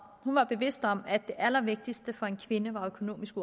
var bevidst om at det allervigtigste for en kvinde var økonomisk